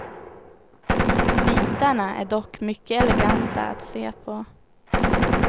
Bitarna är dock mycket eleganta att se på.